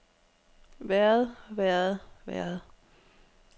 været været været